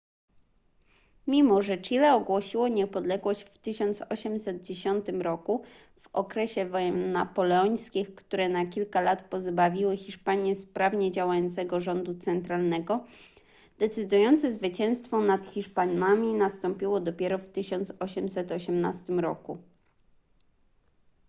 mimo że chile ogłosiło niepodległość w 1810 roku w okresie wojen napoleońskich które na kilka lat pozbawiły hiszpanię sprawnie działającego rządu centralnego decydujące zwycięstwo nad hiszpanami nastąpiło dopiero w 1818 roku